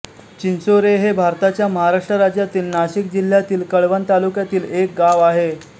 चिंचोरे हे भारताच्या महाराष्ट्र राज्यातील नाशिक जिल्ह्यातील कळवण तालुक्यातील एक गाव आहे